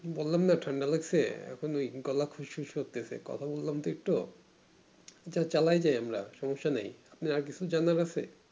বললাম না ঠান্ডা লাগছে এখন ওই গলা খুশ খুশ করতেছে কথা বললাম তো একটু যা চালায় যাই আমরা সম্যসা নেই আর কিছু জানার আছে